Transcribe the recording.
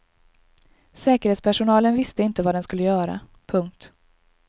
Säkerhetspersonalen visste inte vad den skulle göra. punkt